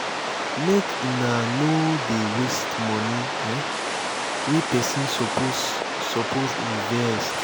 make una nor dey waste moni um wey pesin suppose suppose invest.